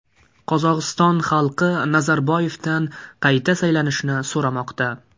Qozog‘iston xalqi Nazarboyevdan qayta saylanishni so‘ramoqda.